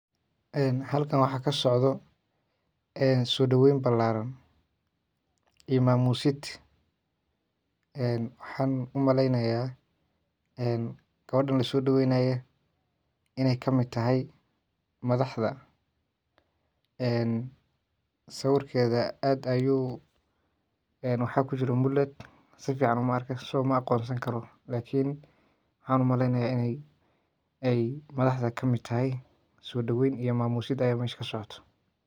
Halkan waxaa kasocdo so daweeym balaaran iyo maamoyin waxaan umaleyneyaa qofkan lasodaweeynaya in eey kamid tahy madaxda. sawirkeda aad ayu waxaa kujiro mulad aad umaarko lakin waxaan umaleynaya in ey kamid tahy madhaxda. Sodaweyn iyo maamusid aya msha kasocot0.